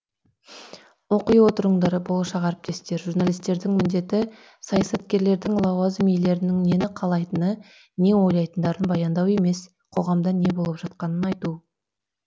оқи отырыңдар болашақ әріптестер журналистердің міндеті саясаткерлердің лауазым иелерінің нені қалайтыны не ойлайтындарын баяндау емес қоғамда не болып жатқанын айту